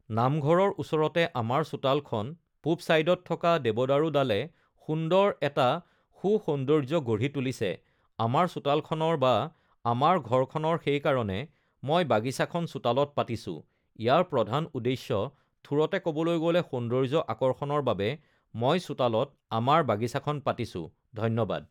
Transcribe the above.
নামঘৰৰ ওচৰতে আমাৰ চোতালখন পূৱ চাইডত থকা দেৱদাৰু ডালে সুন্দৰ এটা সু সৌন্দৰ্য্য গঢ়ি তুলিছে আমাৰ চোতালখনৰ বা আমাৰ ঘৰখনৰ সেইকাৰণে মই বাগিছাখন চোতালত পাতিছোঁ ইয়াৰ প্ৰধান উদ্দেশ্য থোৰতে কবলৈ গ'লে সৌন্দৰ্য আকৰ্ষণৰ বাবে মই চোতালত আমাৰ বাগিছাখন পাতিছোঁ ধন্যবাদ